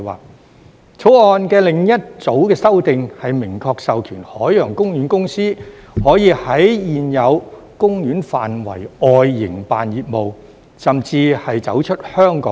《條例草案》的另一組修訂，是明確授權海洋公園公司可以在現有公園範圍外營辦業務，甚至是走出香港也可。